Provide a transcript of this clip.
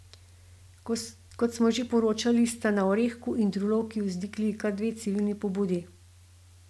Kot smo že poročali, sta na Orehku in v Drulovki vzniknili kar dve civilni pobudi.